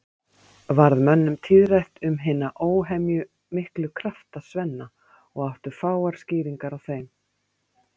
Varð mönnum tíðrætt um hina óhemjumiklu krafta Svenna og áttu fáar skýringar á þeim.